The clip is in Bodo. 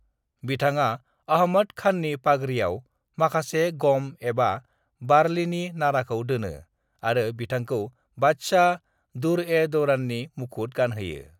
"बिथाङा अहमद खाननि पागरियाव माखासे गम एबा बारलिनि नाराखौ दोनो आरो बिथांखौ बादशाह, दुर्-ए-दौराननि मुखुत गानहोयो।"